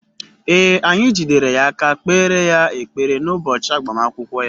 Ee, anyị jidere ya aka kpeere ya ekpere n’ụbọchị agbamakwụkwọ ya.